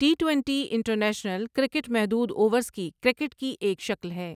T twenty international cricket محدود overs کی cricket کی ایک شکل ہے۔